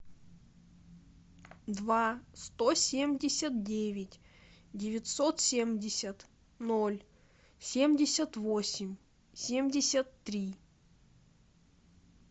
два сто семьдесят девять девятьсот семьдесят ноль семьдесят восемь семьдесят три